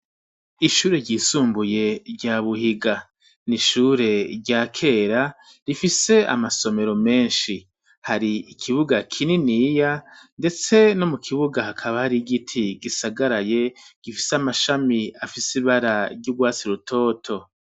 Ishure ryisumbuye rya Buhiga n'ishure rya kera rifise amasomero menshi, hari ikibuga kininiya, ndetse no mu kibuga hakaba hari igiti gisagaraye gifise amashami afise ibara ry'urwatsi rutoto.